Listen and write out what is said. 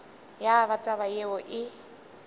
ya ba taba yeo e